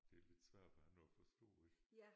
Det er lidt svært for andre at forstå ik?